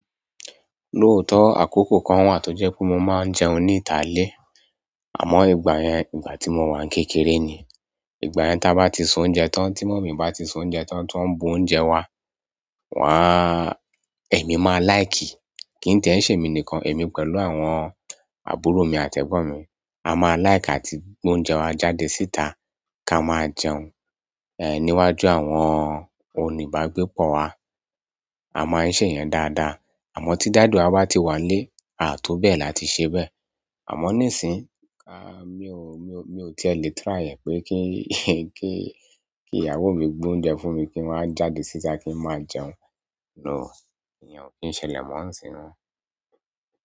Lóòótọ́ àkókò kan wà tó jẹ́ pé mo máa ń jẹun níta ilé. Àmọ́ ìgbà yẹn, ìgbà tí mo wà kékeré ni. Ìgbà yẹn tá bá ti s'oúnjẹ tán, tí mọ̀mi bá ti s'oúnjẹ tán, ti won ń bu oúnjẹ wa, èmi máa lìke. Kí n ti ẹ́ ń ṣèmi nìkan, èmi pẹ̀lú àwọn àbúrò mi àti ẹ̀gbọ́n mi. A máa láìkì àti gb'oúnjẹ wa jáde síta ká máa jẹun, níwájú àwọn onígbágbépọ̀ wa. A máa ń ṣe ìyẹn dáadáa. Àmọ́ tí daddy wa bá ti wà nílé, à a to bẹ́ẹ̀ la ti ṣe bẹ́ẹ̀. Àmọ́ nísìínyi, mi ò, mi ò, mi ò ti lè try ẹ̀ pé kí, kí, kí ìyàwó mi gbé oúnjẹ fún mi kí n wá jáde síta kí n máa jẹun. No, iyen ò kí ń ṣẹlẹ̀ mọ́ nísìnyí mo.